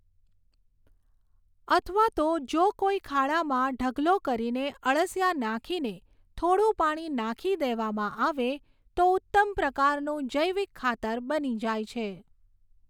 અથવા તો જો કોઈ ખાડામાં ઢગલો કરીને અળસિયાં નાખીને થોડું પાણી નાખી દેવામાં આવે તો ઉત્તમ પ્રકારનું જૈવિક ખાતર બની જાય છે.